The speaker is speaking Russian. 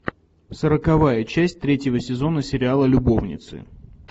сороковая часть третьего сезона сериала любовницы